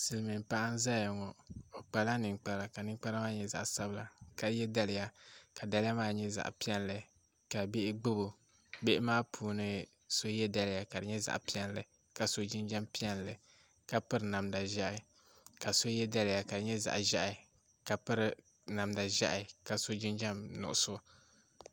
Silmiin paɣa n ʒɛya ŋɔ o kpala ninkpara ka ninkpara maa nyɛ zaɣ sabila ka yɛ daliya ka daliya maa nyɛ zaɣ piɛlli ka bihi gbubo bihi maa puuni so yɛ daliya ka di nyɛ zaɣ piɛlli ka so jinjɛm piɛlli ka piri namda ʒiɛhi ka so yɛ daliya ka di nyɛ zaɣ ʒiɛhi ka piri namda ʒiɛhi ka so jinjɛm nuɣso